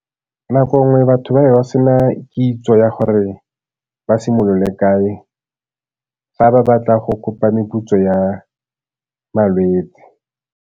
Nako nngwe batho ba be ba se na kitso ya gore ba simolole kae fa ba batla go kopa meputso ya malwetse.